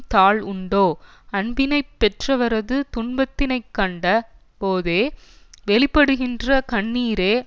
தாழ் உண்டோ அன்பினை பெற்றவரது துன்பத்தினைக் கண்ட போதே வெளிப்படுகின்ற கண்ணீரே